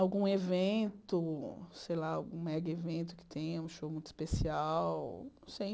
Algum evento, sei lá, algum mega evento que tenha, um show muito especial, não sei.